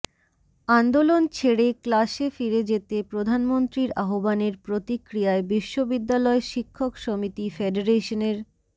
আন্দোলন ছেড়ে ক্লাসে ফিরে যেতে প্রধানমন্ত্রীর আহ্বানের প্রতিক্রিয়ায় বিশ্ববিদ্যালয় শিক্ষক সমিতি ফেডারেশনের